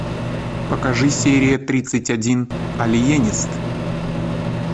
покажи серия тридцать один алиенист